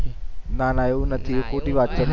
ના ના એવું નથી એ ખોટી વાત છે